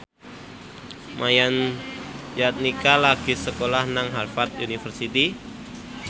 Yayan Jatnika lagi sekolah nang Harvard university